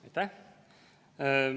Aitäh!